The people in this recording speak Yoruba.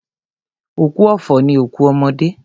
Òkú ọ̀fọ̀ ni òkú ọmọdé.